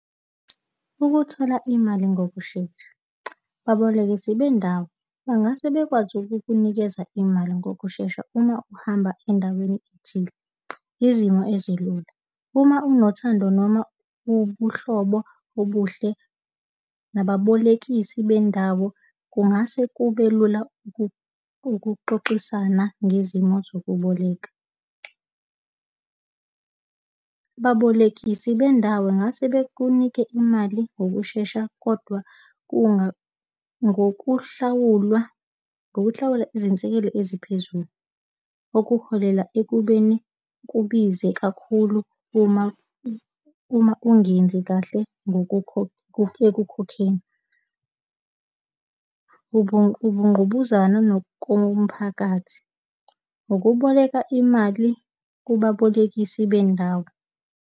Ukuthola imali ngokushesha. Babolekisi bendawo, bangase bekwazi ukukunikeza imali ngokushesha uma uhamba endaweni ethile. Izimo ezilula. Uma unothando noma ubuhlobo obuhle nababolekisi bendawo kungase kubelula ukuxoxisana ngezimo zokuboleka. Babolekisi bendawo, bengase bekunike imali ngokushesha, kodwa ngokuhlawulwa ngokuhlawula izinsekelo eziphezulu okuholela ekubeni kubize kakhulu uma, uma ungenzi kahle ekukhokheni. Ubungqubuzana nokomphakathi, ukuboleka imali kubabolekisi bendawo.